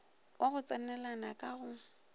wa go tsenelana ka go